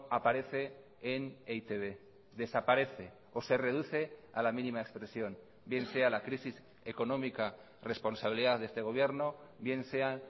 aparece en e i te be desaparece o se reduce a la mínima expresión bien sea la crisis económica responsabilidad de este gobierno bien sean